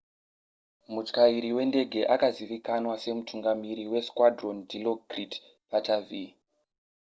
mutyairi wendege akazivikanwa semutungamiri wesquadron dilokrit pattavee